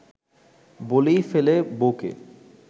বলেই ফেলে বউকে